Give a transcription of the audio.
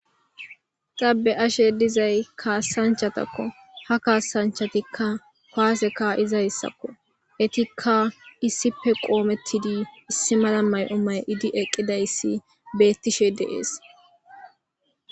Ta be'ashe dizay kaassanchchatakko . Ha kaassanchchatikka kuwase ka'izaytakko. Etikka issippe qoomettidi issi mala mayo mayi'idi eqqidayssi beettishe de'es.